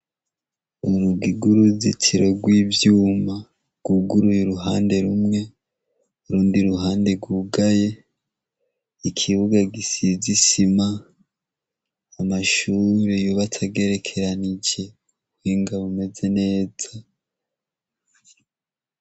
Urugi rwuruzitiro rwivyuma rwuguruye uruhande rumwe n'urundi ruhande rwugaye ikibuga gisize isima, amashure yubatse agerekeranije kubuhinga bumeze neza.